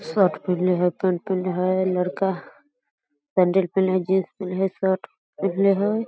Shirt पिन्हले हई pant पिन्हले हई लड़का सैंडल पिन्हले जींस पिन्हले हई शर्ट पिन्हले हई।